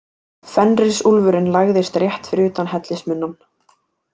Fenrisúlfurinn lagðist rétt fyrir utan hellismunnann.